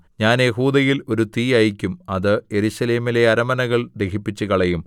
ഞാൻ യെഹൂദയിൽ ഒരു തീ അയയ്ക്കും അത് യെരൂശലേമിലെ അരമനകൾ ദഹിപ്പിച്ചുകളയും